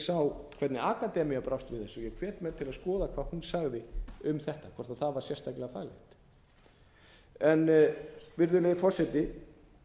sá hvernig akademían brást við þessu ég hvet menn til að skoða hvað hún sagði um þetta hvort það var sérstaklega faglegt virðulegi forseti